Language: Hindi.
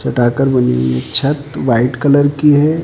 छत व्हाइट कलर की है।